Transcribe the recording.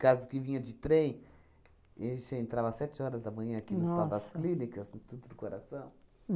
Causo que vinha de trem, a gente já entrava às sete horas da manhã aqui no Hospital das Clínicas, no Instituto do Coração.